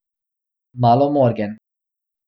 Malo morgen.